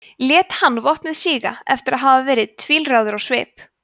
lét hann vopnið síga eftir að hafa verið tvílráður á svip